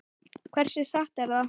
Hversu satt er það?